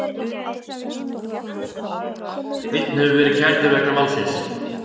Einn hefur verið kærður vegna málsins